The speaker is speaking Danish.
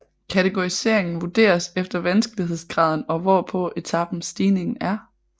Kategoriseringen vurderes efter vanskelighedsgraden og hvor på etapen stigningen er